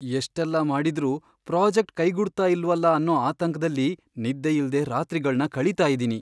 ಎಷ್ಟೆಲ್ಲ ಮಾಡಿದ್ರೂ ಪ್ರಾಜೆಕ್ಟ್ ಕೈಗೂಡ್ತಾ ಇಲ್ವಲ ಅನ್ನೋ ಆತಂಕ್ದಲ್ಲಿ ನಿದ್ದೆಯಿಲ್ದೇ ರಾತ್ರಿಗಳ್ನ ಕಳೀತಾ ಇದೀನಿ.